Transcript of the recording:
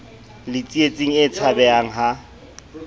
le tsietsing e tshabehang ha